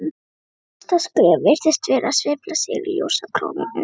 Næsta skref virtist vera að sveifla sér í ljósakrónunum.